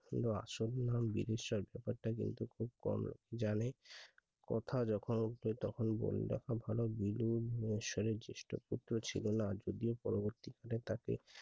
বা সন্ধান বিবেষক ব্যাপারটা টা কিন্তু খব কম জানে কথা যখন উঠবে তখনবলে রাখা ভালো বিলু জ্যেষ্ঠ পুত্র ছিলোনা যদি পরবর্তী কালে তাকে